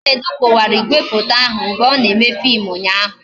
Chinedu kụwara igwefoto ahụ mgbe ọ na-eme fim ụnyaahụ